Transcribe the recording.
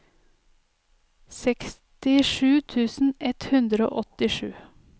sekstisju tusen ett hundre og åttisju